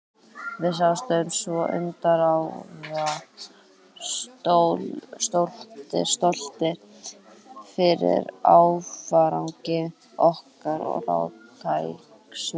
Við settumst svo undir árar, stoltir yfir árangri okkar og ráðkænsku.